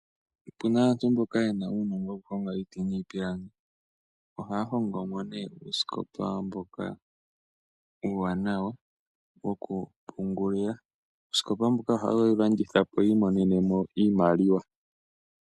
Opuna aantu mboka yena uunongo wukulonga niiti niipilangi. Ohaa hongomo nee uusikopa mboka uuwanawa wokupungulila, uusikopa mbuka ohaa wulandithapo yiimonenemo iimaliwa.